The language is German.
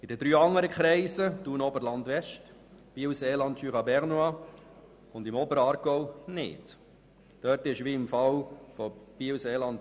In den drei anderen Kreisen Thun – Oberland-West, Biel-Seeland/Jura Bernois und Oberaargau gibt es hingegen keine Regionalkonferenz.